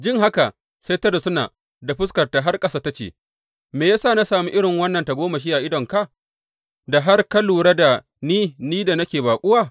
Jin haka, sai ta rusuna da fuskata har ƙasa ta ce, Me ya sa na sami irin wannan tagomashi a idanunka da har ka lura da ni, ni da nake baƙuwa?